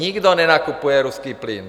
Nikdo nenakupuje ruský plyn.